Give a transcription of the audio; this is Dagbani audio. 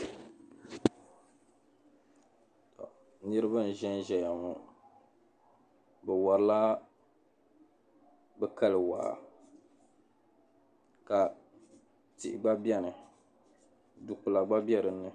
Niriba n-ʒen ʒeya ŋɔ be wari la be kali waa ka tihi gba beni du'kpula gba be dinni.